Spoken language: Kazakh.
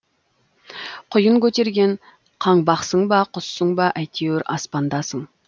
құйын көтерген қаңбақсың ба құссың ба әйтеуір аспандасың